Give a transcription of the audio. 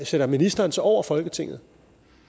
sætter ministeren sig over folketinget